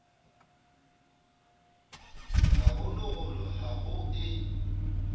ha holoholo ha ho e